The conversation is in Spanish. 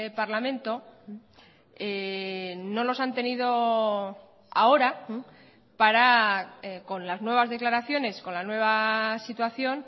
parlamento no los han tenido ahora para con las nuevas declaraciones con la nueva situación